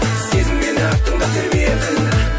сезін мені тыңда деп едің